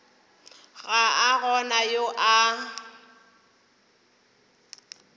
ga a gona yo a